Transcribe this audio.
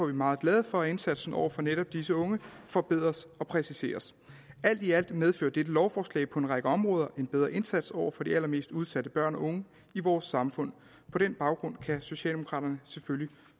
vi meget glade for at indsatsen over for netop disse unge forbedres og præciseres alt i alt medfører dette lovforslag på en række områder en bedre indsats over for de allermest udsatte børn og unge i vores samfund på den baggrund kan socialdemokraterne selvfølgelig